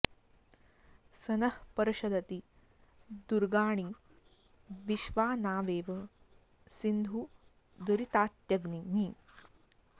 स नः॑ पर्ष॒दति॑ दु॒र्गाणि॒ वि॑श्वा ना॒वेव॒ सिन्धुं॑ दुरि॒तात्य॒ग्निः